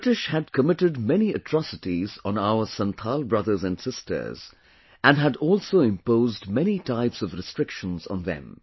The British had committed many atrocities on our Santhal brothers and sisters, and had also imposed many types of restrictions on them